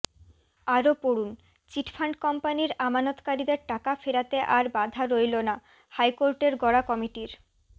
আরও পড়ুন চিটফান্ড কোম্পানির আমানতকারীদের টাকা ফেরাতে আর বাধা রইল না হাইকোর্টের গড়া কমিটির